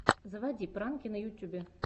заводи пранки на ютюбе